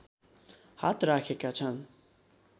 हात राखेका छन्